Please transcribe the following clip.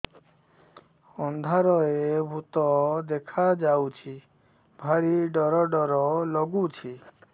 ଅନ୍ଧାରରେ ଭୂତ ଦେଖା ଯାଉଛି ଭାରି ଡର ଡର ଲଗୁଛି